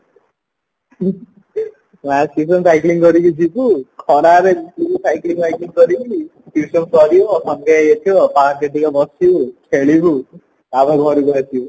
math tuition cycling କରିକି ଯିବୁ ଖରାରେ cycling ଫାଇକେଲିଙ୍ଗ କରିକି tuition ସାରିବା ସନ୍ଧ୍ୟା ହେଇଆସିବା park ଟିକେ ବସିବୁ ଖେଳିବୁ ତାପର ଘରକୁ ଆସିବୁ